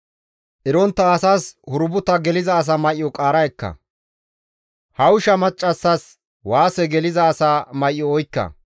Erontta asas hurbuta geliza asa may7o qaara ekka; hawusha maccassas waase geliza asa may7o oykka.